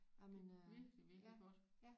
Jamen øh ja ja